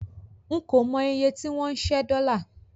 N kò mọ iye tí wọ́n ń ṣẹ́ dọ́là.